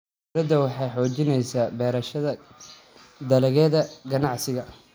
Dawladdu waxay xoojinaysaa beerashada dalagyada ganacsiga.